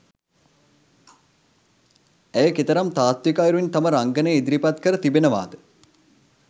ඇය කෙතරම් තාත්වික අයුරින් තම රංඟනය ඉදිරිපත් කර තිබෙනවාද.